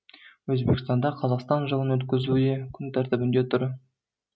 өзбекстанда қазақстан жылын өткізу де күн тәртібінде тұр